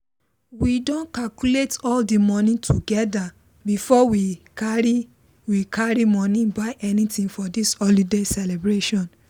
we don calculate all the money together before we carry we carry money buy anything for this holiday celebration